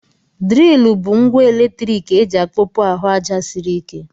Dril bụ ngwa eletrik eji akpọpu ahụ aja sịrị ike.